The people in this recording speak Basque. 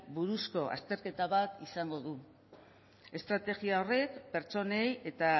buruzko azterketa bat izango du estrategia horrek pertsonei eta